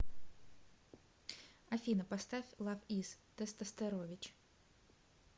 афина поставь лав из тестостерович